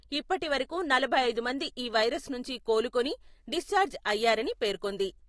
ఇప్పటివరకు నలభై ఐదు మంది ఈ వైరస్ నుంచి కోలుకొని డిశ్చార్జ్ అయ్యారని పేర్కొంది.